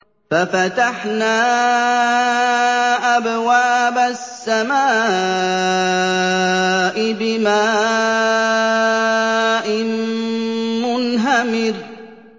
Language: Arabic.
فَفَتَحْنَا أَبْوَابَ السَّمَاءِ بِمَاءٍ مُّنْهَمِرٍ